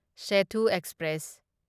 Sethu express